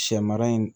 Sɛ mara in